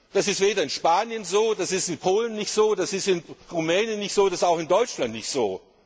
Das ist weder in Spanien so, das ist in Polen nicht so, das ist in Rumänien nicht so, das ist auch in Deutschland nicht so.